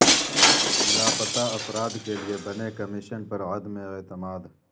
لاپتہ افراد کے لیے بنے کمیشن پر عدم اعتماد